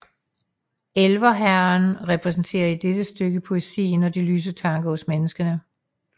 Elverhæren repræsenterer i dette stykke poesien og de lyse tanker hos menneskene